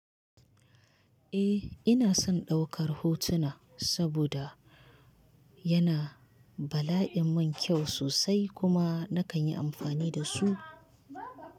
Eh ina son ɗaukar hotuna saboda yana bala'in min kyau sosai kuma nakan yi amfani da su.